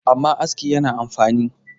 amma aski yana fa amfani